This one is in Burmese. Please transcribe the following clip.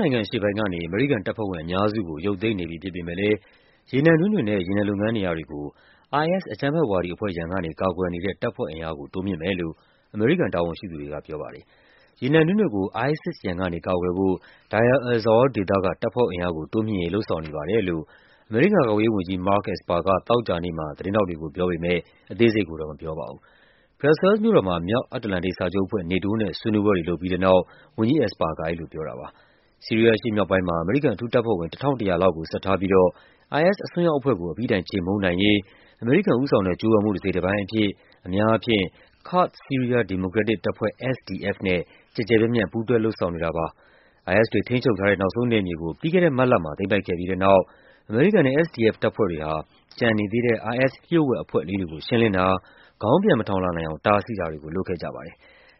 နိုင်ငံအရှေ့ပိုင်းကနေ အမေရိကန်တပ်ဖွဲ့ဝင်အများစုကို ရုပ်သိမ်းနေပြီဖြစ်ပေမယ့်လည်း ရေနံတွင်းတွေနဲ့ ရေနံလုပ်ငန်း နေရာတွေကို IS အကြမ်းဖက်ဝါဒီအဖွဲ့ရန်ကနေ ကာကွယ်နေတဲ့ တပ်ဖွဲ့အင်အားကို တိုးမြှင့်မယ်လို့ အမေရိကန် တာဝန်ရှိသူတွေ ကပြောပါတယ်။ ရေနံတွင်းတွေကို ISIS ရန်ကနေ ကာကွယ်ဖို့ Deir el-Zour ဒေသက တပ်ဖွဲ့အင်အားကို တိုးမြှင့်ရေး လုပ်ဆောင်နေပါတယ်လို့ အမေရိကန်ကာကွယ်ရေးဝန်ကြီး Mark Esper က သောကြာနေ့မှာ သတင်းထောက်တွေကို ပြောပေမယ့် အသေးစိတ်ကိုတော့ မပြောပါဘူး။ ဘရပ်ဆဲလ်စ်မြို့တော်မှာ မြောက်အတ္တလန်တိတ်စာချုပ်အဖွဲ့ NATO နဲ့ ဆွေးနွေးပွဲတွေ လုပ်ပြီးတဲ့နောက် ဝန်ကြီး Esper က အဲဒီလိုပြောတာပါ။ ဆီးရီးယား အရှေ့မြောက်ပိုင်းမှာ အမေရိကန် အထူးတပ်ဖွဲ့ဝင် ၁,၁၀၀ လောက်ကို ဆက်ထားပြီးတော့ IS အစွန်းရောက်အဖွဲ့ကို အပြီးတိုင်ခြေမှုန်းနိုင်ရေး အမေရိကန်ဦးဆောင်တဲ့ ကြိုးပမ်းမှု တစိတ်တပိုင်းအဖြစ် အများအားဖြင့် ကာ့ဒ် ဆီးရီးယား ဒီမိုကရက် တစ်တပ်ဖွဲ့ SDF နဲ့ ကျယ်ကျယ်ပြန့်ပြန့် ပူးတွဲလုပ်ဆောင်နေတာပါ။ IS တွေထိန်းချုပ်ထားတဲ့ နောက်ဆုံးနယ်မြေကို ပြီးခဲ့တဲ့မတ်လမှာ သိမ်းပိုက်ခဲ့ပြီးတဲ့နောက် အမေရိကန်နဲ့ SDF တပ်ဖွဲ့တွေဟာ ကျန်နေသေးတဲ့ IS လျှို့ဝှက်အဖွဲ့လေးတွေကို ရှင်းလင်းတာ၊ ခေါင်းပြန်မထောင်လာနိုင်အောင် တားဆီးတာတွေကို လုပ်ခဲ့ကြပါ တယ်